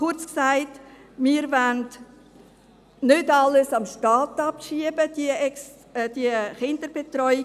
Kurz gesagt: Wir wollen nicht die ganze Kinderbetreuung an den Staat abschieben;